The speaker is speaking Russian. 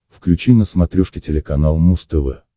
включи на смотрешке телеканал муз тв